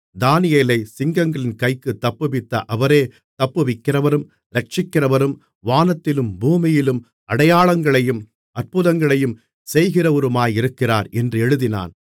தானியேலைச் சிங்கங்களின் கைக்குத் தப்புவித்த அவரே தப்புவிக்கிறவரும் இரட்சிக்கிறவரும் வானத்திலும் பூமியிலும் அடையாளங்களையும் அற்புதங்களையும் செய்கிறவருமாயிருக்கிறார் என்று எழுதினான்